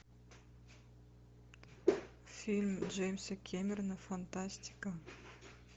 фильм джеймса кэмерона фантастика